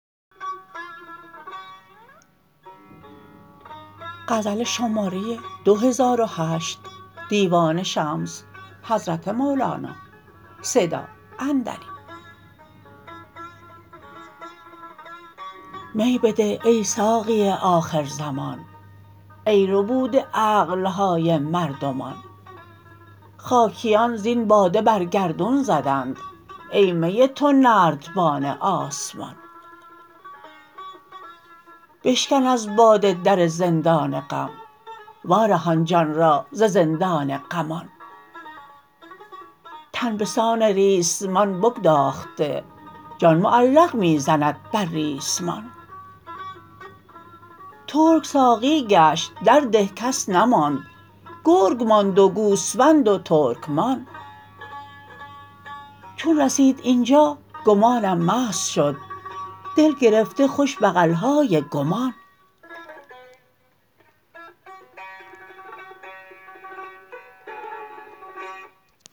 می بده ای ساقی آخرزمان ای ربوده عقل های مردمان خاکیان زین باده بر گردون زدند ای می تو نردبان آسمان بشکن از باده در زندان غم وارهان جان را ز زندان غمان تن به سان ریسمان بگداخته جان معلق می زند بر ریسمان ترک ساقی گشت در ده کس نماند گرگ ماند و گوسفند و ترکمان چون رسید این جا گمانم مست شد دل گرفته خوش بغل های گمان